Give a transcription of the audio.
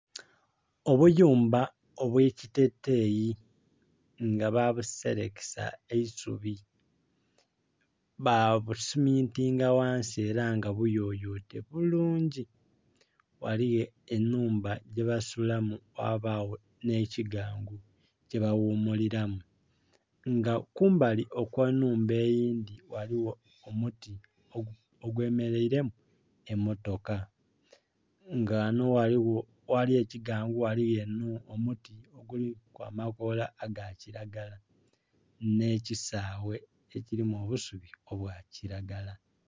Obuyumba obwe ekiteteyi nga babuserekesa eisubi ba busumintinga ghansi era nga buyoyote bulungi, ghaligho enhumba gyebasulamu ghabagho nhe kiggangu kye ba ghumulilamu nga kumbali kwe nhumba eyindhi ghaligho omuti ogwe mereire mu emotoka, nga ghanho agali ekiggangu ghaligho omuti ogulimu amakoola aga kilagala nhe kisaaghe ekilimu obusubi obwa kilagala.